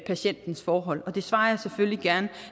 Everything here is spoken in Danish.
patientens forhold og det svarer jeg selvfølgelig gerne